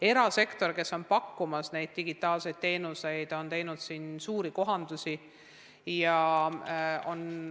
Erasektor, kes on pakkunud neid digitaalseid teenuseid, on teinud suuri kohandusi.